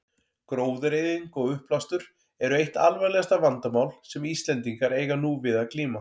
Gróðureyðing og uppblástur eru eitt alvarlegasta vandamál sem Íslendingar eiga nú við að glíma.